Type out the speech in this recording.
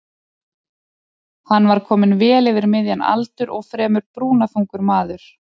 Hann var kominn vel yfir miðjan aldur og fremur brúnaþungur maður.